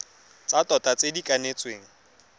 tsa tota tse di kanetsweng